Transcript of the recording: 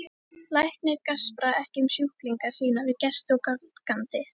Læknar gaspra ekki um sjúklinga sína við gesti og gangandi.